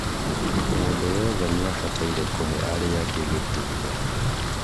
mũndũ wothe nĩabataire kũhe arĩangĩ gĩtĩo